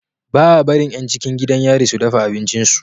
Baa barin yan cikin gidan yari su dafa abincin su